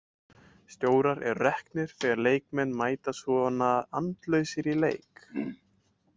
Stjórar eru reknir þegar leikmenn mæta svona andlausir í leik.